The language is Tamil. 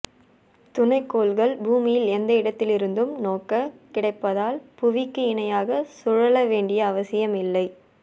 துணைக்கோள்கள் பூமியில் எந்த இடத்திலிருந்தும் நோக்கக் கிடைப்பதால் புவிக்கு இணையாக சுழல வேண்டிய அவசியம் இல்லை